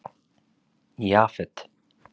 Jafet